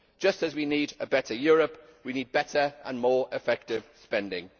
Just as we need a better Europe, we need better and more effective spending.